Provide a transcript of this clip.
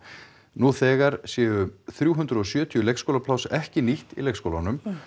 nú þegar séu þrjú hundruð og sjötíu leikskólapláss ekki nýtt í leikskólunum